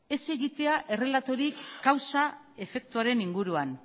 ez egitea errelatorik kausa efektuaren inguruan